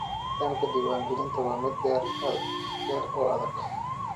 Nidaamka diiwaangelinta waa mid dheer oo adag.